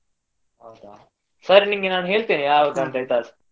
ಹೌದಾ ಸರಿ ನಿನ್ಗೆ ನಾನ್ ಹೇಳ್ತೇನೆ ಅಂತ, ಆಯ್ತಾ?